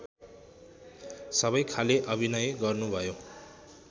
सबैखाले अभिनय गर्नुभयो